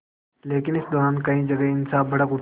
लेकिन इस दौरान कई जगह हिंसा भड़क उठी